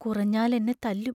കുറഞ്ഞാൽ എന്നെ തല്ലും.